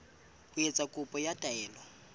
ho etsa kopo ya taelo